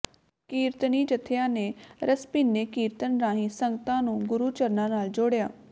ਕੀਰਤਨੀ ਜੱਥਿਆਂ ਨੇ ਰਸਭਿੰਨੇ ਕੀਰਤਨ ਰਾਹੀਂ ਸੰਗਤਾਂ ਨੂੰ ਗੁਰੂ ਚਰਨਾਂ ਨਾਲ ਜੋੜਿਆ